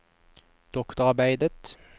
doktorarbeidet